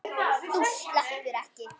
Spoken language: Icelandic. Þú sleppur ekki!